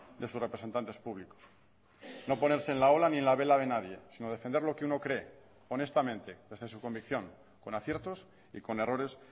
de sus representantes públicos no ponerse en la ola ni en la vela de nadie sino defender lo que uno cree honestamente desde su convicción con aciertos y con errores